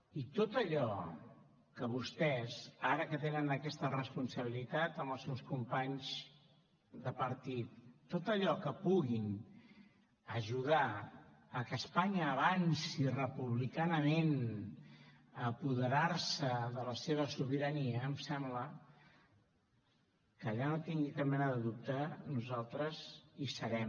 i en tot allò que vostès ara que tenen aquesta responsabilitat amb els seus companys de partit en tot allò amb què puguin ajudar a que espanya avanci republicanament a apoderar se de la seva sobirania em sembla que allà no en tingui cap mena de dubte nosaltres hi serem